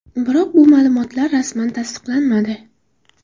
Biroq bu ma’lumotlar rasman tasdiqlanmadi.